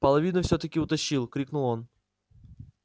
половину все таки утащил крикнул он